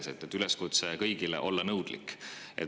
Sa tegid kõigile üleskutse olla nõudlik.